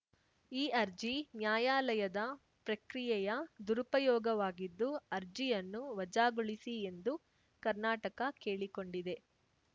ಈ ಅರ್ಜಿ ನ್ಯಾಯಾಲಯದ ಪ್ರಕ್ರಿಯೆಯ ದುರುಪಯೋಗವಾಗಿದ್ದು ಅರ್ಜಿಯನ್ನು ವಜಾಗೊಳಿಸಿ ಎಂದು ಕರ್ನಾಟಕ ಕೇಳಿಕೊಂಡಿದೆ